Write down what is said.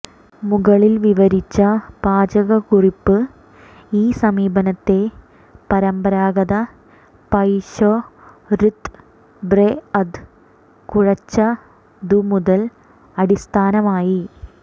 മുകളിൽ വിവരിച്ച പാചകക്കുറിപ്പ് ഈ സമീപനത്തെ പരമ്പരാഗത പൈ ശൊര്ത്ബ്രെഅദ് കുഴെച്ചതുമുതൽ അടിസ്ഥാനമായി